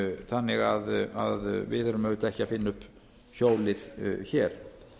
þannig að við erum auðvitað ekki að finna upp hjólið hér